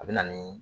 A bɛ na nii